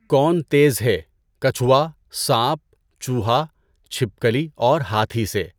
کون تیز ہے کچھوُا، سانپ، چوہا، چھپکلی اور ہاتھی سے؟